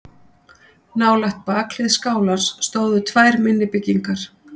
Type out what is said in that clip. Nálægt bakhlið skálans stóðu tvær minni byggingar.